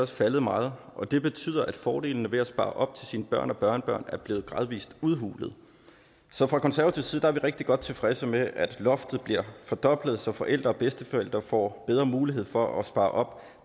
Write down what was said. faldet meget og det betyder at fordelene ved at spare op til sine børn og børnebørn er blevet gradvis udhulede så fra konservativ side er vi rigtig godt tilfredse med at loftet bliver fordoblet så forældre og bedsteforældre får bedre mulighed for at spare op